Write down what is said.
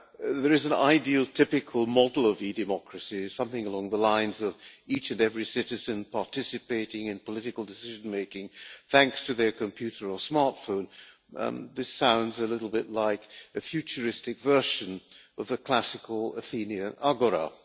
There is an ideal typical model of e-democracy, something along the lines of each and every citizen participating in political decision making thanks to their computer or smartphone This sounds a little bit like a futuristic version of the classical Athenian agora.